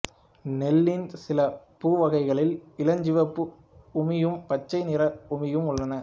நெல்லின் சில பூ வகைகளில் இளஞ்சிவப்பு உமியும் பச்சை நிற உமியும் உள்ளன